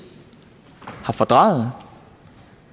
fordrejet